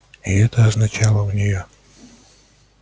и это означало у неё